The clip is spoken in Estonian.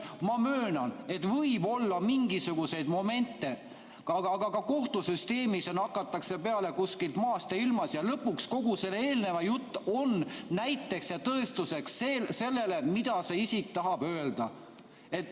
Ma möönan, et võib olla mingisuguseid momente, aga ka kohtusüsteemis on nii, et hakatakse peale maast ja ilmast ja lõpuks kogu see eelnev jutt on näiteks ja tõestuseks sellele, mida see isik tahab öelda.